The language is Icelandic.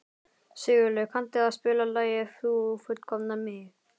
Sigurleif, kanntu að spila lagið „Þú fullkomnar mig“?